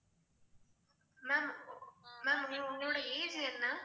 ma'am ma'am உங்களோட age என்ன?